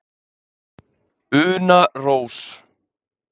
Una Rós.